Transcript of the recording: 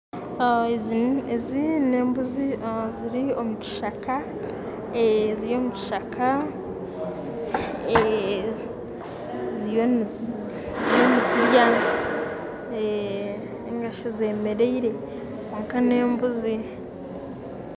Ezi n'embuzi ziri omukishaka ziri mukishaka ziriyo nizirya ningashi zemeriire kwonka nembuzi.